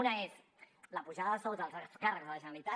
una és la pujada de sous dels alts càrrecs de la generalitat